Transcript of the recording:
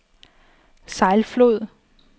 Sejlflod